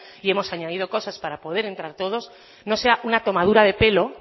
y hemos añadido cosas para poder entrar todos espero que no sea una tomadura de pelo